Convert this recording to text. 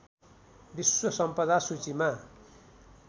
विश्व सम्पदा सूचीमा